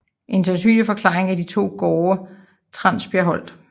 En sandsynlig forklaring er de to gårde Transbjergholt